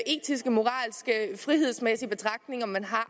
etiske moralske frihedsmæssige betragtninger man har